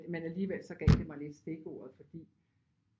Men alligevel så gav det mig lidt stikordet fordi